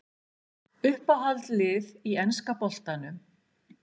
Uppáhald lið í enska boltanum?